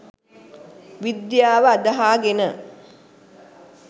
විද්‍යාව අදහාගෙන